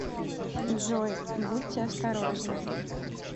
джой будьте осторожны